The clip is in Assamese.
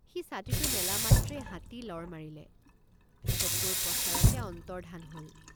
সি ছাতিটো মেলা মাত্ৰেই হাতী লৰ মাৰিলে চকুৰ পচাৰতে অন্তৰ্ধান হল।